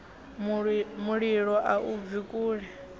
mulilo a i bvi kule